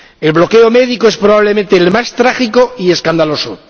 El bloqueo médico es, probablemente, el más trágico y escandaloso.